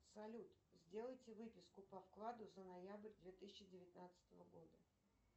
салют сделайте выписку по вкладу за ноябрь две тысячи девятнадцатого года